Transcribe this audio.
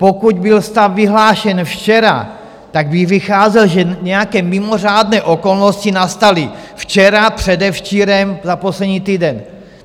Pokud byl stav vyhlášen včera, tak bych vycházel, že nějaké mimořádné okolnosti nastaly včera, předevčírem, za poslední týden.